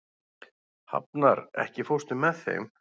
Hafnar, ekki fórstu með þeim?